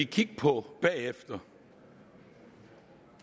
kigge på bagefter